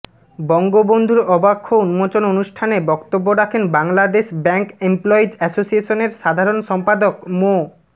বঙ্গবন্ধুর অবাক্ষ উন্মোচন অনুষ্ঠানে বক্তব্য রাখেন বাংলাদেশ ব্যাংক এমপ্লয়িজ অ্যাসোসিয়েশনের সাধারণ সম্পাদক মো